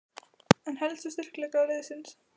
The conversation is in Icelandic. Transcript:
En helstu styrkleika liðsins?